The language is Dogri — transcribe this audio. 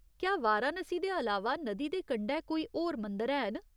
क्या वाराणसी दे अलावा नदी दे कंढै कोई होर मंदर हैन ?